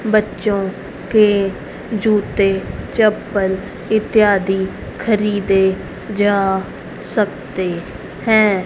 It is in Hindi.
बच्चों के जूते चप्पल इत्यादि खरीदे जा सकते हैं।